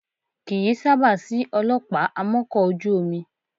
Kì í sábà sí ọlọ́pàá amọ́kọ̀ ojú omi